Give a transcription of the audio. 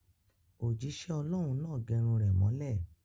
Òjísẹ́ ọlọ́hun náà gẹrun rẹ̀ mọ́lẹ̀